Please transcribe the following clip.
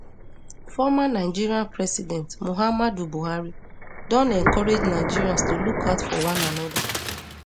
former nigeria president muhammadu buhari don encourage nigerians to look out for one anoda